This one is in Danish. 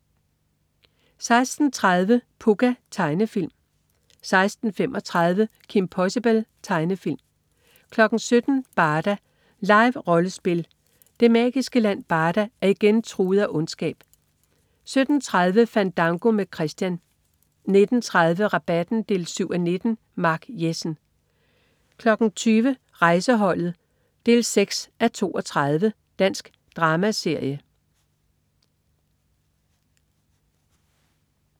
16.30 Pucca. Tegnefilm 16.35 Kim Possible. Tegnefilm 17.00 Barda. Live-rollespil. Det magiske land Barda er igen truet af ondskab 17.30 Fandango med Christian 19.30 Rabatten 7:19. Mark Jessen 20.00 Rejseholdet 6:32. Dansk dramaserie